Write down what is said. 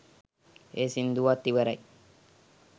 ඒ සින්දුවත් ඉවරයි